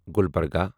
Gulbarga